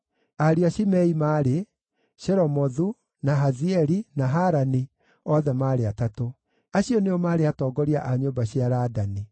Ariũ a Shimei maarĩ: Shelomothu, na Hazieli, na Harani, othe maarĩ atatũ. Acio nĩo maarĩ atongoria a nyũmba cia Ladani.